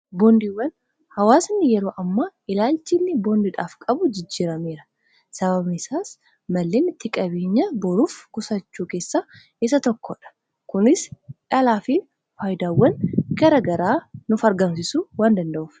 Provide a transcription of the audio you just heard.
boondiiwwan. hawaasanni yeroo amma ilaalchi inni boondidhaaf qabuu jijjirameera sababni isaas malleen itti qabeenya boruuf qusachuu keessa isa tokkoodha kunis dhalaa fi faayidaawwan gara garaa nuf argamsisu waan danda'uuf